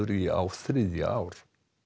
í á þriðja ár